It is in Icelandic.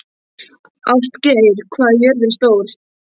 Ástgeir, hvað er jörðin stór?